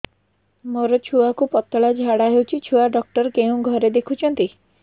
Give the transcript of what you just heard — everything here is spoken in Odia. ମୋର ଛୁଆକୁ ପତଳା ଝାଡ଼ା ହେଉଛି ଛୁଆ ଡକ୍ଟର କେଉଁ ଘରେ ଦେଖୁଛନ୍ତି